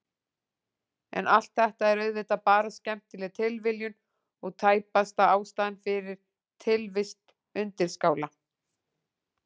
En allt þetta er auðvitað bara skemmtileg tilviljun og tæpast ástæðan fyrir tilvist undirskála.